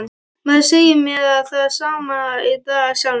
Maður segir mér það sama í dag af sjálfum sér.